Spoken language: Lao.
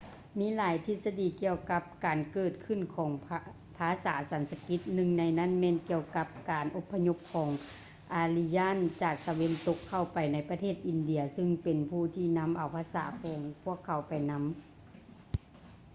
ມີຫຼາຍທິດສະດີກ່ຽວກັບການເກີດຂຶ້ນຂອງ ພາສາສັນສະກິດ. ໜຶ່ງໃນນັ້ນແມ່ນກ່ຽວກັບການອົບພະຍົບຂອງ ອາຣິຢານ aryan ຈາກຕາເວັນຕົກ ເຂົ້າໄປໃນປະເທດອິນເດຍ ຊຶ່ງເປັນຜູ້ທີ່ນຳເອົາພາສາຂອງພວກເຂົາໄປນຳ